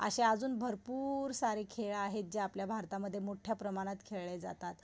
अशे अजून भरपूर सारे खेळ आहेत जे आपल्या भारतामध्ये मोठ्या प्रमाणात खेळले जातात.